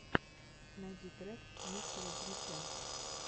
найти трек мистера димича